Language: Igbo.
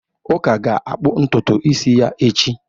Uka ga-akpụ ntutu isi ya echi.